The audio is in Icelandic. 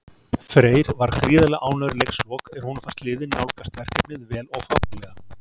Freyr var gríðarlega ánægður í leikslok, en honum fannst liðið nálgast verkefnið vel og fagmannlega.